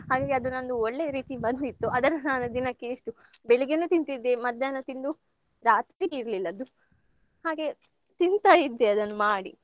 ಹಂಗೆ ಅದು ನಂದು ಒಳ್ಳೆ ರೀತಿ ಬಂದಿತ್ತು ಅದನ್ನ ನಾನು ದಿನಕ್ಕೆ ಎಷ್ಟು ಬೆಳಿಗ್ಗೆನು ತಿಂತಿದ್ದೆ ಮಧ್ಯಾಹ್ನ ತಿಂದು, ರಾತ್ರಿಗೆ ಇರ್ಲಿಲ್ಲ ಅದು ಹಾಗೆ ತಿಂತಾಯಿದ್ದೆ ಅದನ್ನು ಮಾಡಿ.